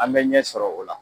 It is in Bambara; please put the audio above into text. An bɛ ɲɛ sɔrɔ o la